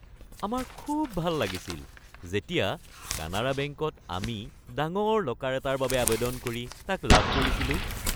আমাৰ খুব ভাল লাগিছিল যেতিয়া কানাড়া বেংকত আমি ডাঙৰ লকাৰ এটাৰ বাবে আৱেদন কৰি তাক লাভ কৰিছিলো।